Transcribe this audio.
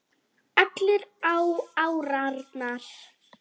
Allir á árarnar